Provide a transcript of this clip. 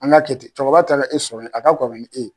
An ka kɛ ten cɛkɔrɔba taara e sɔrɔ ye a ka kɔrɔ ni e ye.